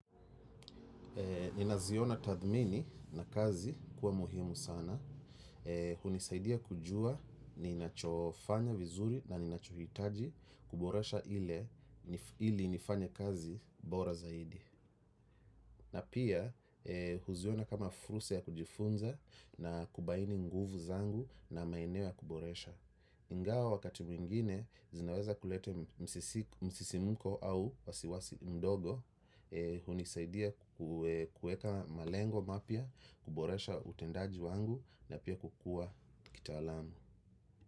Nina ziona tathmini na kazi kuwa muhimu sana. Hunisaidia kujua ninachofanya vizuri na ninachohitaji kuboresha ili nifanya kazi bora zaidi. Na pia huziona kama fursa ya kujifunza na kubaini nguvu zangu na maeneo ya kuboresha. Ingawa wakati mwingine zinaweza kulete msisimuko au wasiwasi mdogo hunisaidia kuweka malengo mapya, kuboresha utendaji wangu na pia kukua kitaalamu.